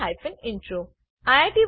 અહીં આ ટ્યુટોરીયલ સમાપ્ત થાય છે